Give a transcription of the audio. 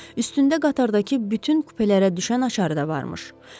Üstündə qatardakı bütün kupelərə düşən açar da var imiş.